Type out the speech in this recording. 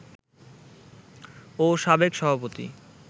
ও সাবেক সভাপতি